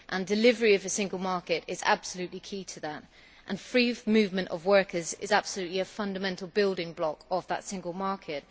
Delivery of the single market is absolutely key to that, and free movement of workers is a fundamental building block of that single market.